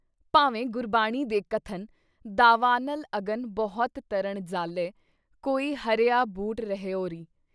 ਭਾਵੇਂ ਗੁਰਬਾਣੀ ਦੇ ਕਥਨ- ਦਾਵਾਨਲ ਅਗਨ ਬਹੁਤ ਤਰਿਣ ਜ਼ਾਲੇ ਕੋਈ ਹਰਿਆ ਬੁਟ ਰਹਿਓ ਰੀ।”